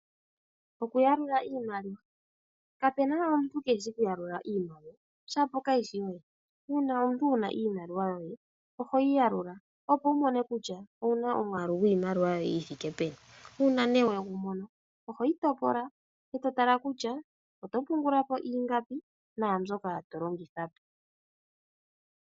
Okuyalula iimaliwa kapuna omuntu ke eshi oku yalula iimaliwa shapo kayishi yoye . Uuna omuntu wuna iimaliwa yoye ohoyi yalula opo wu mone kutya owu na omwaalu gwiimaliwa yoye yithike peni. Uuna ne wegumono ohoyi topola eto tala kutya oto pungula po ingapi nandjoka tolongitha po.